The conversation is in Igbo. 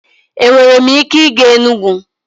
Enwere m ike ịga Enugwu?